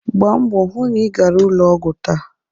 Gbaa mbọ hụ na ị gara ụlọ ọgwụ taa.